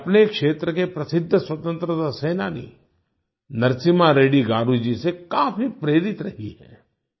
वे अपने क्षेत्र के प्रसिद्ध स्वतंत्रता सेनानी नरसिम्हा रेड्डी गारू जी से काफी प्रेरित रही हैं